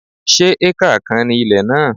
Se acre kan ni ilẹ̀ náà?